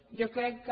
jo crec que